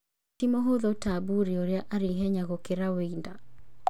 Ti mũhũthũ ta Buri ũrĩa arĩ ihenya gũkĩra Weinda.